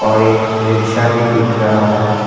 और एक रिक्शा भी दिख रहा है।